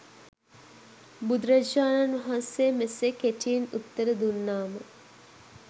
බුදුරජාණන් වහන්සේ මෙසේ කෙටියෙන් උත්තර දුන්නාම